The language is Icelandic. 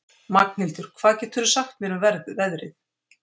Magnhildur, hvað geturðu sagt mér um veðrið?